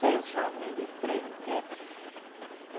Seis homens e três mulheres.